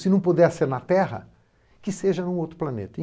Se não puder ser na Terra, que seja num outro planeta.